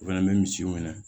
U fɛnɛ bɛ misiw minɛ